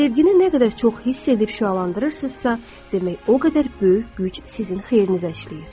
Sevgini nə qədər çox hiss edib şüalandırırsınızsa, demək o qədər böyük güc sizin xeyrinizə işləyir.